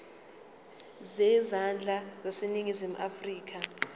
zezandla zaseningizimu afrika